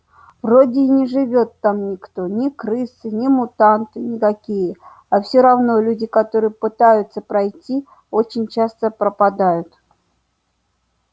вроде и не живёт там никто ни крысы ни мутанты никакие а все равно люди которые пытаются пройти очень часто пропадают